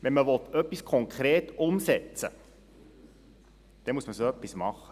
Wenn man etwas konkret umsetzen will, dann muss man so etwas machen.